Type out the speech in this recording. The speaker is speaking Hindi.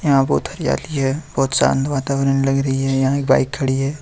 यहां बहुत हरियाली है बहुत शांत वातावरण लग रही है यहां एक बाइक खड़ी है।